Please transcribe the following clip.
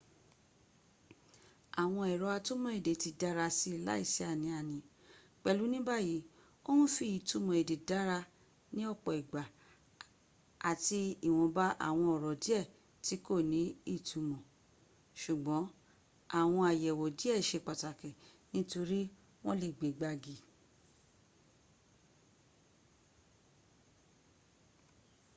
àwọn èrọ atúmò èdè ti dárasi láìsí ánì-àní pèlú níbàyí o ń fi ìtumọ̀ èdè dárá ní ọ̀pọ̀ ìgbà àti ìwòmba àwọn ọ̀rọ̀ díẹ̀ tí kò ní ìtumọ̀ sùgbọ́n àwọn àyẹ̀wò díẹ̀ se pàtakì nítorí wọ́n lè gbe gbági